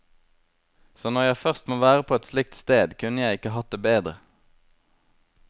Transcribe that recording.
Så når jeg først må være på et slikt sted, kunne jeg ikke hatt det bedre.